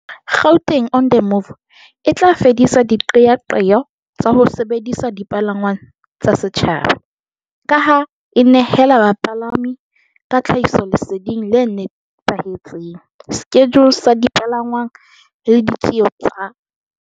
Gauteng on the Move e tla fedisa diqeaqeo tsa ho sebedisa dipalangwang tsa setjhaba, ka ha e nehela bapalami ka tlhahisoleseding le nepahetseng, skejule sa dipalangwang le di tjeo tsa